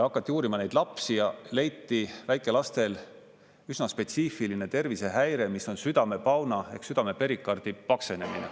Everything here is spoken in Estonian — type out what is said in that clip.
Hakati uurima neid lapsi ja leiti väikelastel üsna spetsiifiline tervisehäire, mis on südamepauna ehk südame perikardi paksenemine.